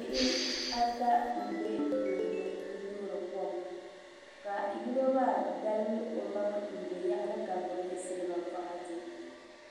Bihi ata n bɛ kuligi ni n toori kom ka yino maa dalim o maŋa n bɛ yaɣali ka gbubi silba boɣati